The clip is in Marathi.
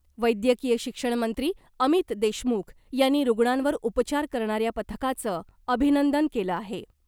वैद्यकीय शिक्षण मंत्री अमित देशमुख यांनी रुग्णांवर उपचार करणाऱ्या पथकाचं अभिनंदन केलं आहे .